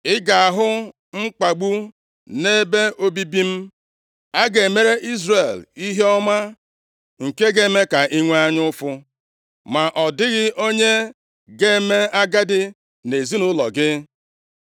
Ị ga-ahụ mkpagbu nʼebe obibi m; a ga-emere Izrel ihe ọma nke ga-eme ka i nwee anya ụfụ, ma ọ dịghị onye ga-eme agadi nʼezinaụlọ gị.